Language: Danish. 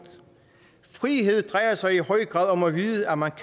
frihed drejer sig i høj grad om at vide at man